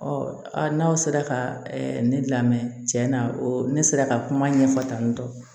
n'aw sera ka ne lamɛn tiɲɛ na o ne sera ka kuma ɲɛfɔ tantɔ